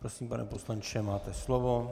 Prosím, pane poslanče, máte slovo.